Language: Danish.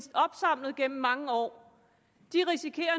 opsamlet gennem mange år